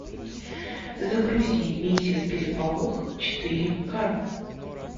загрузи миссис переполох четыре ка